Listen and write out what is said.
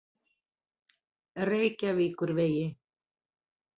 Reykjavíkurvegi